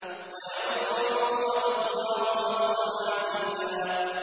وَيَنصُرَكَ اللَّهُ نَصْرًا عَزِيزًا